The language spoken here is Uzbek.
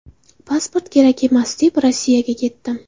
Pasport kerak emas, deb Rossiyaga ketdim.